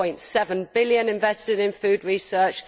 4.7 billion invested in food research